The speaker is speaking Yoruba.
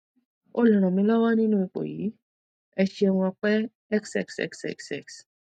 o lè ràn mí lọwọ nínú ipò yìí ẹ ṣeun ọpẹ xxxxx